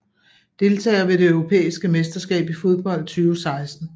Deltagere ved det europæiske mesterskab i fodbold 2016